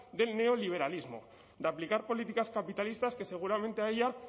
del neoliberalismo de aplicar políticas capitalistas que seguramente a ella